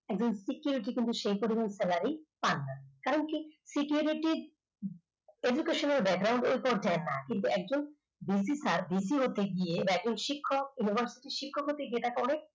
একজন security কিন্তু সে পরিমাণ salary পান না কারণ security র education এই পর্যায়ে না কিন্তু একজন visitor গিয়ে একজন শিক্ষক University শিক্ষক হতে যেটা করে